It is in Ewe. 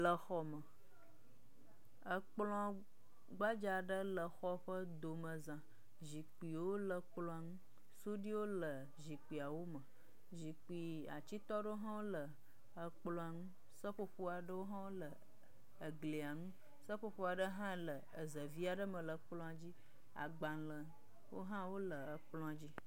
Le xɔ me. Ekplɔ gbadza aɖe le xɔ ƒe domeza. Zikpuiwo le kplɔa ŋu. Suɖuiwo le zikpuiawo me. Zikpui atsitɔ ɖewo hã wo le ekplɔ nu. Seƒoƒo aɖewo wo le eglia nu. Seƒoƒo aɖe hã le eze vi aɖe me le ekplɔa dzi. Agbalewo hã wole ekplɔ dzi.